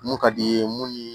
Mun ka di i ye mun ni